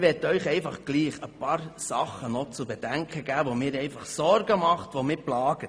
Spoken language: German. Dennoch möchte ich Ihnen ein paar Punkte zu bedenken geben, die mir Sorgen bereiten und mich plagen.